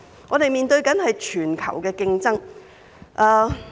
我們現正面對全球的競爭。